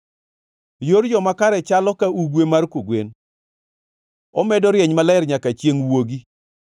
Yor joma kare chalo ka ugwe mar kogwen, omedo rieny maler nyaka chiengʼ wuogi.